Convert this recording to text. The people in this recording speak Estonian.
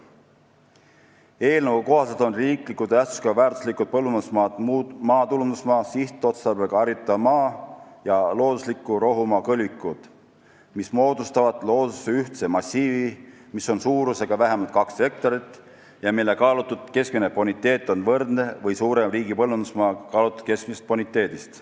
Eelnõu kohaselt on riikliku tähtsusega väärtuslikud põllumajandusmaad maatulundusmaa, sihtotstarbega haritav maa ja loodusliku rohumaa kõlvikud, mis moodustavad looduses ühtse massiivi, mis on suurusega vähemalt kaks hektarit ja mille kaalutud keskmine boniteet on võrdne või suurem riigi põllumajandusmaa kaalutud keskmisest boniteedist.